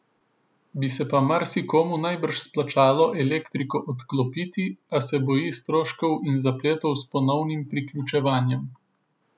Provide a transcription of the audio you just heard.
Bi se pa marsikomu najbrž splačalo elektriko odklopiti, a se boji stroškov in zapletov s ponovnim priključevanjem.